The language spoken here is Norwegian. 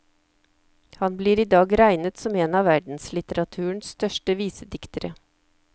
Han blir i dag regnet som en av verdenslitteraturens største visediktere.